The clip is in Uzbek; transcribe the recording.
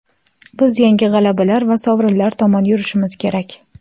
Biz yangi g‘alabalar va sovrinlar tomon yurishimiz kerak.